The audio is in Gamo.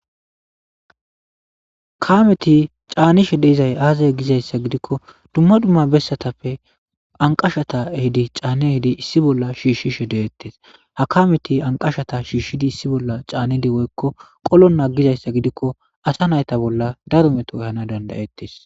Kameti caanishe dizay aaze giza issa giddikko dumma dumma bessatappe anqashata ehidi caanne ehidi issi bolla shiishshishe deettes. Ha kameti anqashata shiishidi issi bolla caanedi woykko qolonna giza issa gidikko asa nayta bolla daro meto gatana dandayettes.